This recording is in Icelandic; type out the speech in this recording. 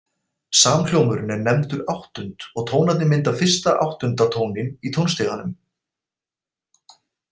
Samhljómurinn er nefndur áttund og tónarnir mynda fyrsta og áttunda tóninn í tónstiganum.